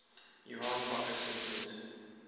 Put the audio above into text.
johan bakkes ontmoet